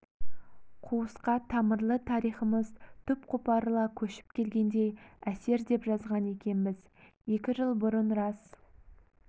қуысқа тамырлы тарихымыз түп қопарыла көшіп келгендей әсер деп жазған екенбіз екі жыл бұрын рас